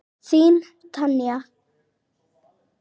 Þín Tanya.